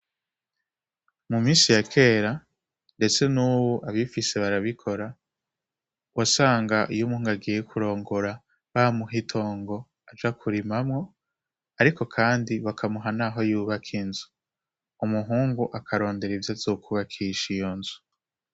Mu minsi ya kera ndetse n'ubu, abifise barabikora wasanga iyo umuntu agiye kurongora, bamuha itongo aja kurimamwo, ariko kandi bakamuha naho yubaka inzu. Umuhungu akarondera ivyo azokwubakisha iyo nzu.